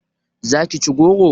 Za ki ci goro?